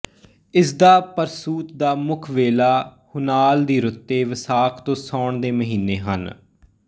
ਇਸਦਾ ਪਰਸੂਤ ਦਾ ਮੁੱਖ ਵੇਲਾ ਹੁਨਾਲ ਦੀ ਰੁੱਤੇ ਵਸਾਖ ਤੋਂ ਸਾਉਣ ਦੇ ਮਹੀਨੇ ਹਨ